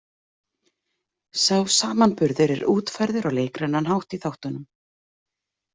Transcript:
Sá samanburður er útfærður á leikrænan hátt í þáttunum.